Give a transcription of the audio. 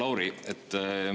Hea Lauri!